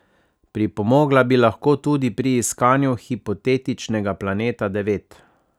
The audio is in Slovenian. Pripomogla bi lahko tudi pri iskanju hipotetičnega Planeta devet.